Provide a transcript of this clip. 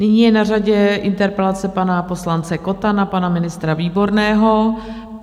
Nyní je na řadě interpelace pana poslance Kotta na pana ministra Výborného.